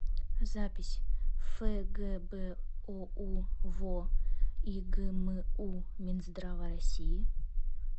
запись фгбоу во игму минздрава россии